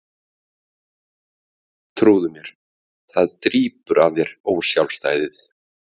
Trúðu mér, það drýpur af þér ósjálfstæðið.